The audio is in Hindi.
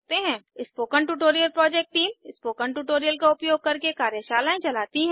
spoken tutorial project team spoken tutorials का उपयोग करके कार्यशालाएँ चलती है